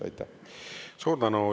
Suur tänu!